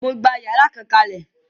Mo gbà yàrá kan kalẹ.